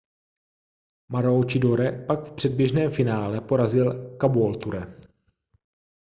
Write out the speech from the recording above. maroochydore pak v předběžném finále porazil caboolture